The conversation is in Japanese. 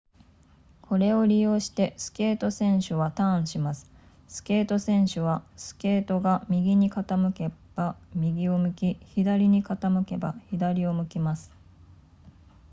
これを利用してスケート選手はターンしますスケート選手はスケートが右に傾けば右を向き左に傾けば左を向きます